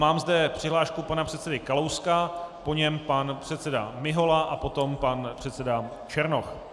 Mám zde přihlášku pana předsedy Kalouska, po něm pan předseda Mihola a potom pan předseda Černoch.